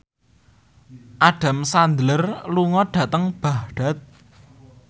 Adam Sandler lunga dhateng Baghdad